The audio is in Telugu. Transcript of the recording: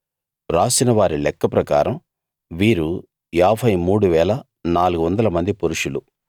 రాసిన వారి లెక్క ప్రకారం వీరు 53 400 మంది పురుషులు